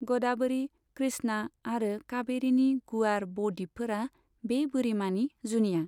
ग'दावरी, कृष्णा आरो काबेरीनि गुवार ब द्वीपफोरा बे बोरिमानि जुनिया।